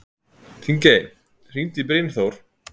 Þingey, hringdu í Brynþór.